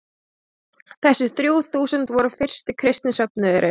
Þessi þrjú þúsund voru fyrsti kristni söfnuðurinn.